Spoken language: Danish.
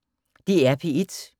DR P1